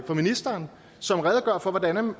ministeren som redegør for hvordan